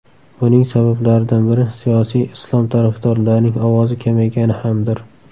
Buning sabablaridan biri siyosiy Islom tarafdorlarining ovozi kamaygani hamdir.